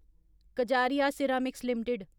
Kajaria ceramics limited